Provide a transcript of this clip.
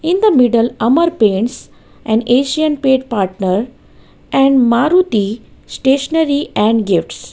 in the middle amar paints and asian paint partner and maruthi stationary and gifts.